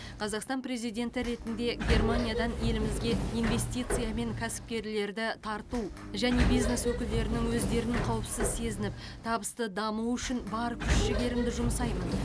қазақстан президенті ретінде германиядан елімізге инвестиция мен кәсіпкерлерді тарту және бизнес өкілдерінің өздерін қауіпсіз сезініп табысты дамуы үшін бар күш жігерімді жұмсаймын